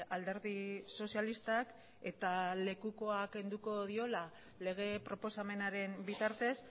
alderdi sozialistak eta lekukoa kenduko diola lege proposamenaren bitartez